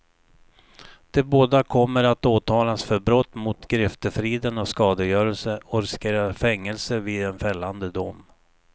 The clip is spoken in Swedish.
De båda kommer att åtalas för brott mot griftefriden och skadegörelse, och riskerar fängelse vid en fällande dom.